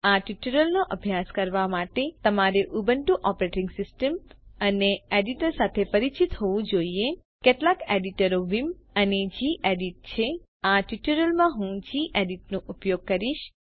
આ ટ્યુટોરીયલનો અભ્યાસ કરવા માટે તમારે ઉબુન્ટુ ઓપરેટીંગ સિસ્ટમ અને એડિટર સાથે પરિચિત હોવું જોઈએ કેટલાક એડીટરો વિમ અને ગેડિટ છે આ ટ્યુટોરીયલ માં હું ગેડિટ નો ઉપયોગ કરીશ